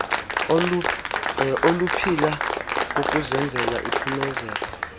oluphila kukuzenzela iphumezeka